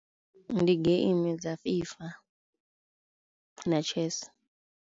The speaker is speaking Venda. Ndi geimi dza fifa na chess.